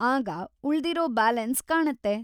ಆಗ, ಉಳ್ದಿರೋ ಬ್ಯಾಲೆನ್ಸ್‌ ಕಾಣತ್ತೆ.